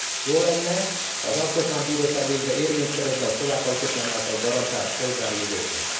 Jó lenne, ha az Alkotmánybíróság végre érvényt szerezne a szlovák alkotmány által garantált polgári jogoknak.